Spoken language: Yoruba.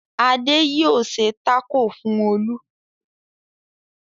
Adé yóò ṣe tákò fún Olú.